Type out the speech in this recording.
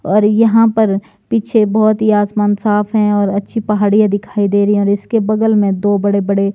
और यहां पर पीछे बहुत ही आसमान साफ है और अच्छी पहाड़ियां दिखाई दे रही है और इसके बगल में दो बड़ेबड़े।